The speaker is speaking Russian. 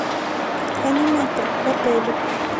аниматор в отеле